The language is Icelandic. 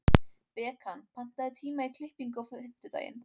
Bekan, pantaðu tíma í klippingu á fimmtudaginn.